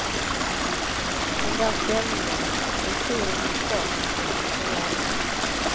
Den där stämningen, jag tror den finns kvar hos dem som var där.